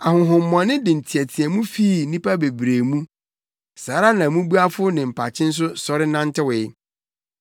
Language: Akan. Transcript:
Ahonhommɔne de nteɛteɛmu fii nnipa bebree mu. Saa ara na mmubuafo ne mpakye nso sɔre nantewee.